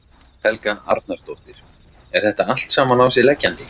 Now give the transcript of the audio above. Helga Arnardóttir: Er þetta allt saman á sig leggjandi?